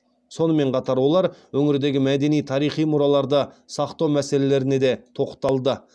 сонымен қатар олар өңірдегі мәдени тарихи мұраларды сақтау мәселелеріне де тоқталды